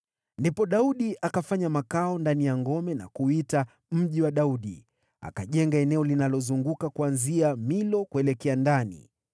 Ndipo Daudi akafanya makao ndani ya ngome na kuiita Mji wa Daudi. Akajenga eneo linalozunguka kuanzia Milo kuelekea ndani.